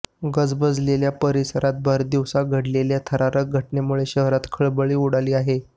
गजबजलेल्या परिसरात भरदिवसा घडलेल्या थरारक घटनेमुळे शहरात खळबळ उडाली आहे